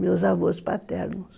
Meus avôs paternos.